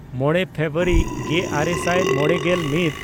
ᱢᱚᱬᱮ ᱯᱷᱮᱵᱨᱩᱣᱟᱨᱤ ᱜᱮᱼᱟᱨᱮ ᱥᱟᱭ ᱢᱚᱬᱮᱜᱮᱞ ᱢᱤᱫ